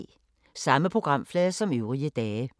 Samme programflade som øvrige dage